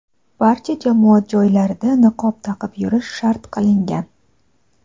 barcha jamoat joylarida niqob taqib yurish shart qilingan.